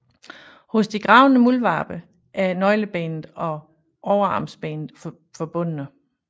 Hos de gravende muldvarpe er nøglebenet og overarmsbenet forbundne